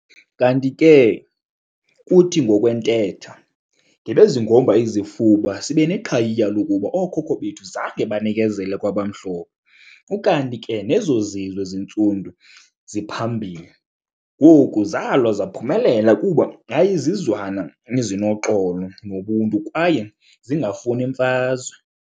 Kanti ke kuthi ngokwentetha, "ngebezingomba izifuba sibeneqhayiya lokuba ooKhokho bethu zange banikezele kwabamhlophe ukanti ke nezozizwe zintsundu ziphambili ngoku zalwa zaphumelela kuba yayizizizwana ezinoxolo nobuntu kwaye zingafuni mfazwe".